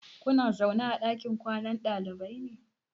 Kuna zaune a ɗakin kwanan ɗalibai ne?